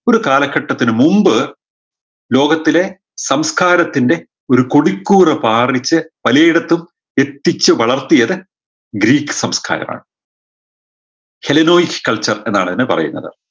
ഒരു കാലഘട്ടത്തിന് മുമ്പ് ലോകത്തിലെ സംസ്കാരത്തിൻറെ ഒരു കൊടിക്കൂറ പാറിച്ച് പലയിടത്തും എത്തിച്ചു വളർത്തിയത് ഗ്രീക്ക് സംസ്കാരമാണ് ശെലനോയിസ് culture എന്നാണ് ഇതിന് പറയുന്നത്